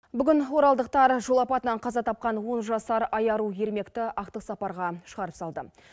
бүгін оралдықтар жол апатынан қаза тапқан он жасар айару ермекті ақтық сапарға шығарып салды